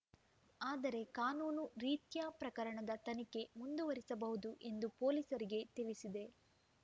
ಆದರೆ ಕಾನೂನು ರೀತ್ಯ ಪ್ರಕರಣದ ತನಿಖೆ ಮುಂದುವರಿಸಬಹುದು ಎಂದು ಪೊಲೀಸರಿಗೆ ತಿಳಿಸಿದೆ